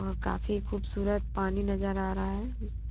और काफी खूबसूरत पानी नजर आ रहा है।